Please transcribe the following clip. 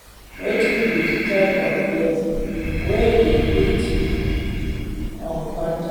Wetin be di type of bias wey we fit encounter?